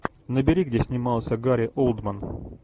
набери где снимался гари олдман